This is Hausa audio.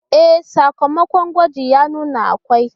E, sakamakon gwaji ya nuna akwai